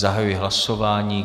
Zahajuji hlasování.